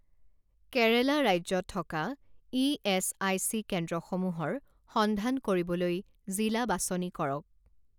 কেৰেলা ৰাজ্যত থকা ইএচআইচি কেন্দ্ৰসমূহৰ সন্ধান কৰিবলৈ জিলা বাছনি কৰক